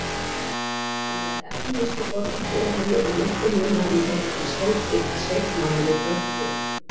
Á meðan efnuðustu borgarbúarnir lifa miklu munaðarlífi býr stór hluti sveitamanna við kröpp kjör.